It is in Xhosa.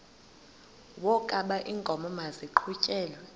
wokaba iinkomo maziqhutyelwe